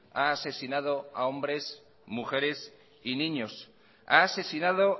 ha asesinado a hombres mujeres y niños ha asesinado